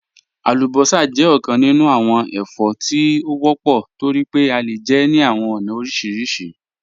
Alúbọ́sá jẹ̀ ọkàn nínú awọn ẹ̀fọ́ tí wọ́pọ̀ tó rí pé à le jẹ́ ní awọn ọ̀na orísírísì.